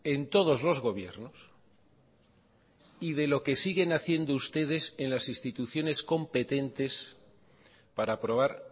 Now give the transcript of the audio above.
en todos los gobiernos y de lo que siguen haciendo ustedes en las instituciones competentes para aprobar